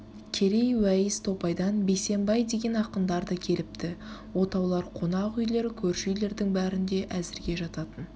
қерей уәйіс топайдан бейсембай деген ақындар да келіпті отаулар қонақ үйлер көрші үйлердің бәрінде әзірге жататын